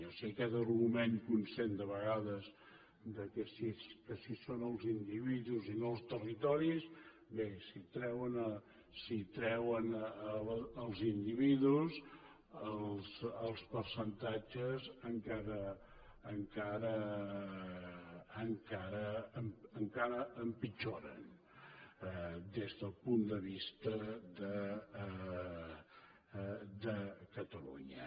o sigui que aquest argument que un sent de vegades que si són els individus i no els territoris bé si treuen els individus els percentatges encara encara empitjoren des de punt de vista de catalunya